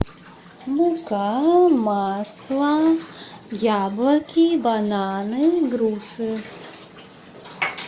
мука масло яблоки бананы груши